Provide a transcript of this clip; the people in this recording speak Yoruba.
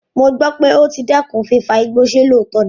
Mo gbọ́ pé o ti dẹ́kun fífa igbó, ṣe lóòótọ́ ni?